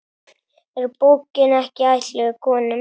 Er bókin ekki ætluð konum?